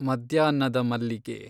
ಮದ್ಯಾಹ್ನದ ಮಲ್ಲಿಗೆ